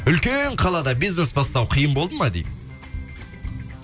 үлкен қалада бизнес бастау қиын болды ма дейді